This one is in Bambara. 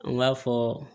An b'a fɔ